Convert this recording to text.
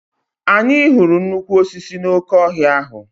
Anyị hụrụ nnukwu osisi n'oke ọhịa ahụ.